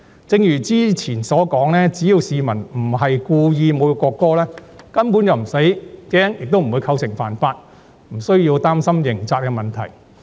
正如早前所說，只要市民不是故意侮辱國歌，根本便無需害怕，亦不會構成犯法，無需要擔心刑責問題。